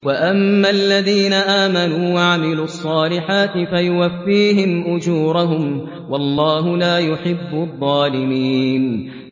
وَأَمَّا الَّذِينَ آمَنُوا وَعَمِلُوا الصَّالِحَاتِ فَيُوَفِّيهِمْ أُجُورَهُمْ ۗ وَاللَّهُ لَا يُحِبُّ الظَّالِمِينَ